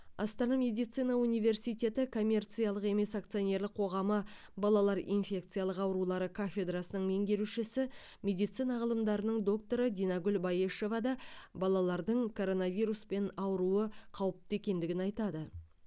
астана медицина университеті коммерциялық емес акционерлік қоғамы балалар инфекциялық аурулары кафедрасының меңгерушісі медицина ғылымдарының докторы динагүл баешева да балалардың коронавируспен ауруы қауіпті екендігін айтады